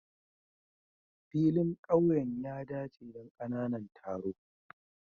Filin ƙauyen ya dace don ƙananan taro.